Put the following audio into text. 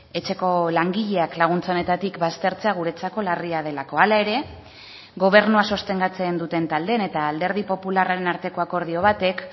etxeko langileak laguntza honetatik baztertzea guretzako larria delako hala ere gobernua sostengatzen duten taldeen eta alderdi popularraren arteko akordio batek